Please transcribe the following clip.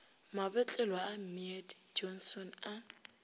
mabotlelo a mead johnson a